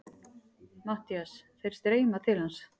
MATTHÍAS: Þeir streyma til hans.